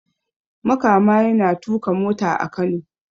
Makama yana tuka mota a Kano